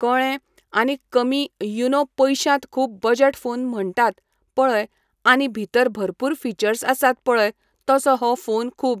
कळें आनी कमी यु नो पयश्यांत खूब बजट फोन म्हणटात पळय आनी भितर भरपूर फिचर्स आसात पळय तसो हो फोन खूब